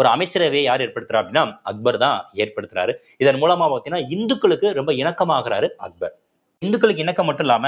ஒரு அமைச்சரவைய யாரு ஏற்படுத்துறா அப்படின்னா அக்பர்தான் ஏற்படுத்துறாரு இதன் மூலமா பாத்தீங்கன்னா இந்துக்களுக்கு ரொம்ப இணக்கமா ஆகுறாரு அக்பர் இந்துக்களுக்கு இணக்கம் மட்டும் இல்லாம